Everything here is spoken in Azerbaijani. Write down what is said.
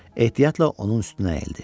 Ehtiyatla onun üstünə əyildi.